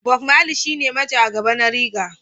Bob Mali shine majagaba na reggae.